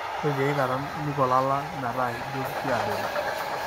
ore tiaikata niko ilala meeta ijio kiadoru.